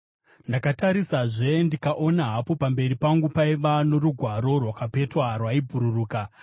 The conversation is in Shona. Ndakatarisazve ndikaona, hapo pamberi pangu paiva norugwaro rwakapetwa rwaibhururuka!